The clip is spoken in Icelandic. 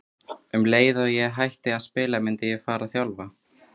Um leið og ég myndi hætta að spila myndi ég fara að þjálfa.